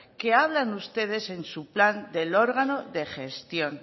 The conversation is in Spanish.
que hablan ustedes en su plan del órgano de gestión